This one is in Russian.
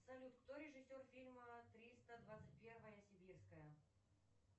салют кто режиссер фильма триста двадцать первая сибирская